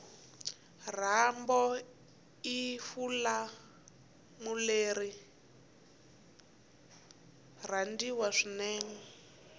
rambo ifulimuleriari rhandziwa swinene